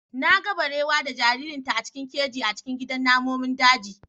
Na ga barewa da jaririnta a cikin keji a cikin gidan namomin daji.